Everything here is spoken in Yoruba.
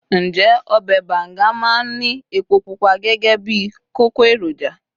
njé obe banga ma n Ni epo pupa gẹgẹ bí kókó eroja